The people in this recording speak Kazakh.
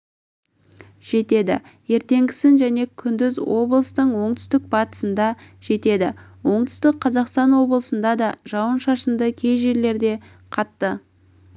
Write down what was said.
жетеді ертеңгісін және күндіз облыстың оңтүстік-батысында жетеді оңтүстік қазақстан облысында да жауын-шашынды кей жерлерде қатты